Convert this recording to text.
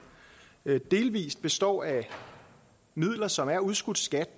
delvis består af midler som er udskudt skat